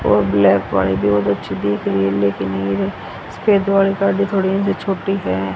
बहुत अच्छी दिख रही है लेकिन ये गाड़ी थोड़ी इनसे छोटी है।